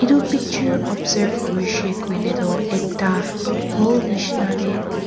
itu picture observe kurishey kuile tuh ekta hall nishina deh.